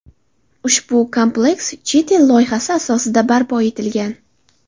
Ushbu kompleks chet el loyihasi asosida barpo etilgan.